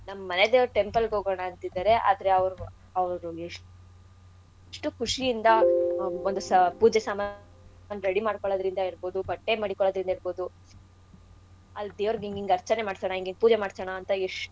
ನಮ್ ಮನೆದೇವ್ರ್ temple ಗ್ ಹೋಗಣ ಅಂತಿದಾರೆ ಆದ್ರೆ ಅವ್ರ್~ ಅವ್ರ್ ಎಷ್ಟು ಖುಶಿಯಿಂದ ಒಂದ್ ಸಾ ಪೂಜೆ ಸಾಮಾ ready ಮಾಡ್ಕೊಳ್ಳೋದ್ರಿಂದ ಇರ್ಬೌದು ಬಟ್ಟೆ ಮಡಿಕ್ಕೊಳೋದ್ರಿಂದ ಇರ್ಬೌದು ಅಲ್ ದೇವ್ರ್ಗ್ ಇಂಗ್ ಇಂಗ್ ಆರ್ಚನೆ ಮಾಡ್ಸಣ ಇಂಗ್ ಇಂಗ್ ಪೂಜೆ ಮಾಡ್ಸಣಾ ಅಂತ.